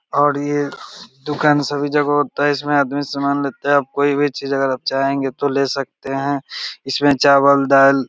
और ये दुकान सभी जगह होता है इसमें आदमी सामान लेता है आप कोई भी चीज़ अगर आप चाहेंगे तो ले सकते हैं इसमें चावल दाल --